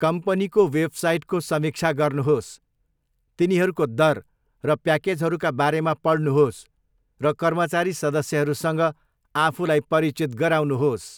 कम्पनीको वेबसाइटको समीक्षा गर्नुहोस्, तिनीहरूको दर र प्याकेजहरूका बारेमा पढ्नुहोस्, र कर्मचारी सदस्यहरूसँग आफूलाई परिचित गराउनुहोस्।